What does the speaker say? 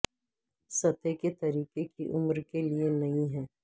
سطح کے طریقے کی عمر کے لئے نئی ہے